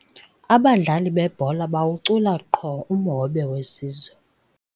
Abadlali bebhola bawucula qho umhobe wesizwe.